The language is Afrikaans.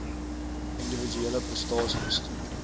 individuele prestasie bestuur